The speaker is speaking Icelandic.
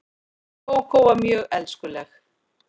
Kókó var mjög elskuleg.